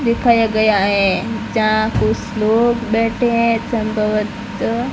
दिखाया गया है जहां कुछ लोग बैठे हैं --